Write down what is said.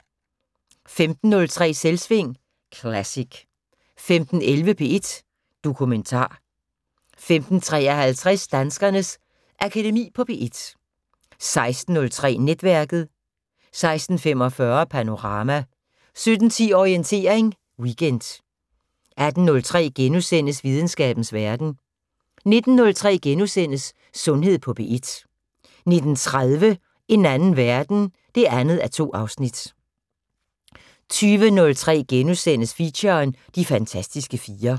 15:03: Selvsving Classic 15:11: P1 Dokumentar 15:53: Danskernes Akademi på P1 16:03: Netværket 16:45: Panorama 17:10: Orientering Weekend 18:03: Videnskabens Verden * 19:03: Sundhed på P1 * 19:30: En anden verden 2:2 20:03: Feature: De fantastiske fire *